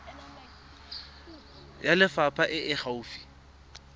ya lefapha e e gaufi